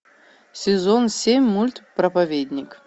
сезон семь мульт проповедник